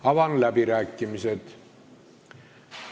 Avan läbirääkimised.